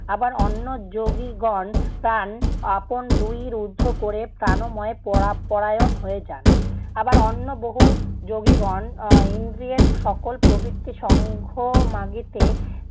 আবার অন্য যোগীগণ প্রাণ আপন দুই রুদ্ধ ক'রে প্রাণময় পরা~ পরায়ণ হয়ে যান। আবার অন্য বহু যোগীগণ এর ইন্দ্রিয়ের সকল প্রবৃত্তের সঙ্গ মাগিতে